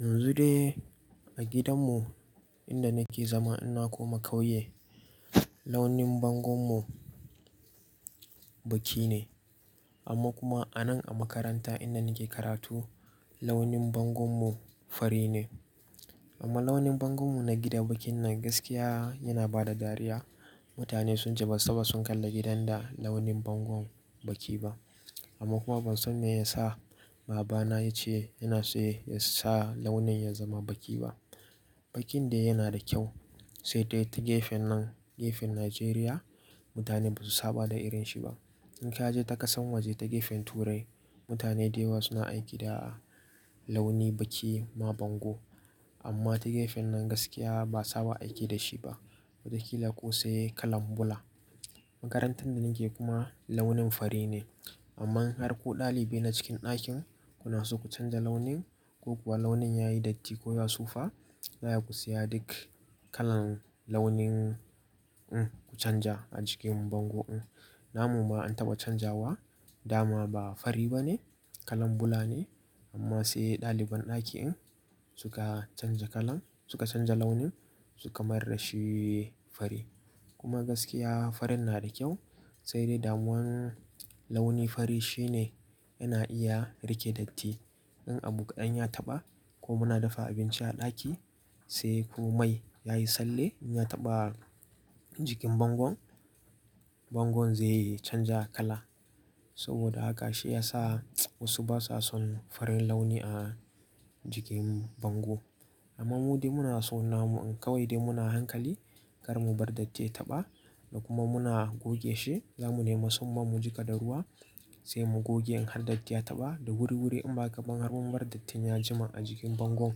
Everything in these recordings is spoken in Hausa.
Yanzu dai a gidanmu inda nake zama ina kuma kauye launin bangonmu baki ne amma kuma anan a makaranta inda nake karatu launin bangonmu fari ne. Amma launin bangonmu na gida bakin nan gaskiya yana bada dariya. Mutane sunce basu taba su kalli gidan da launin bango baki ba amma kuma ban san me yasa babana yace yana so yasa launin ya zama baki ba. Bakin dai yana da kyau sai dai ta gefen nan gefen Najeriya mutane ba su saba da irin shi ba. In ka je ta kasan waje ta gefen Turai mutane da yawa suna aiki da launi baki ma bango amma ta gefen nan gaskiya ba saba aiki da shi ba. Watakila ko sai kalan bula. Makarantar da nake kuma launin fari ne amma in har ko ɗalibi na cikin ɗakin kuna so ku canja launin ko kuwa launin yayi datti ko ya sufa yaya ku siya duk kalan launin mm ku canja a jikin bango in. Na mu ma an taɓa canjawa dama ba fari bane kalan bula ne amma sai ɗaliban ɗakin suka canja kalan suka canja launin suka mayar dashi fari kuma gaskiya farin na da kyau sai dai damuwan launi fari shine yana iya rike datti. In abu kadan ya taɓa ko muna dafa abinci a ɗaki sai ko mai yayi tsalle in ya taɓa jikin bango bango zaiyi canja kala saboda haka shi yasa wasu basa son farin launi a jikin bango. Amma mu dai muna so na mu in kawai dai muna hankali kar mu bar datti ya taɓa da kuma muna goge shi. Za mu nema tsumman mu jiƙa da ruwa sai mu goge in har datti ya taɓa da wuri-wuri in maƙaban har mun bar dattin ya jima a jikin bango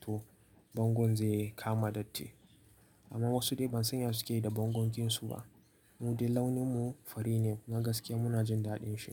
to bango zai kama datti. Amma wasu dai ban san yadda suke yi da bangon su ba. Mu dai launin mu fari ne kuma gaskiya muna jin daɗin shi.